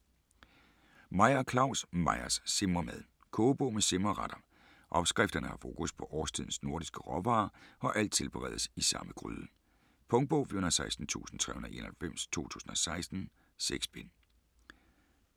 Meyer, Claus: Meyers simremad Kogebog med simreretter. Opskrifterne har fokus på årstidens nordiske råvarer og alt tilberedes i samme gryde. Punktbog 416391 2016. 6 bind.